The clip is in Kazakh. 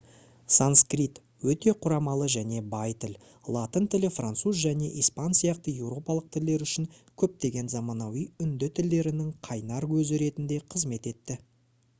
санскрит өте құрамалы және бай тіл латын тілі француз және испан сияқты еуропалық тілдер үшін көптеген заманауи үнді тілдерінің қайнар көзі ретінде қызмет етті